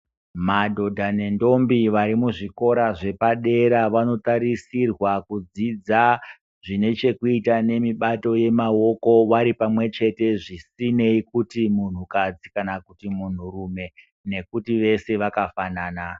Madhodha nendombie vari muzvikora zvepadera vanotarisirwa kudzidza zvine chekuita memibato yemaoko varipamwe chete zvisinei kuti munhukadzi kana kuti munhurume nekuti wese wakafanana.